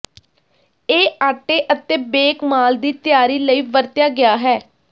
ਇਹ ਆਟੇ ਅਤੇ ਬੇਕ ਮਾਲ ਦੀ ਤਿਆਰੀ ਲਈ ਵਰਤਿਆ ਗਿਆ ਹੈ